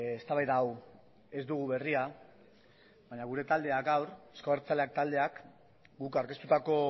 eztabaida hau ez dugu berria baina gure taldeak gaur euzko abertzaleak taldeak guk aurkeztutako